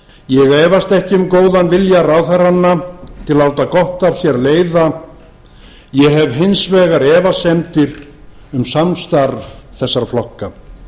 ég efast ekki um góðan vilja ráðherranna til að láta gott af sér leiða ég hef hins vegar efasemdir um samstarf þessara flokka